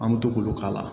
An bɛ to k'olu k'a la